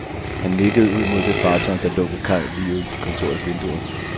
Han nikkede ud mod det fartøj, der lå ved kaj lige uden for kontorets vinduer.